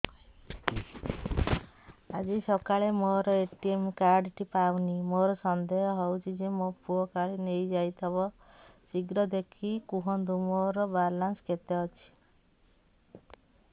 ଆଜି ସକାଳେ ମୋର ଏ.ଟି.ଏମ୍ କାର୍ଡ ଟି ପାଉନି ମୋର ସନ୍ଦେହ ହଉଚି ମୋ ପୁଅ କାଳେ ନେଇଯାଇଥିବ ଶୀଘ୍ର ଦେଖି କୁହନ୍ତୁ ମୋର ବାଲାନ୍ସ କେତେ ଅଛି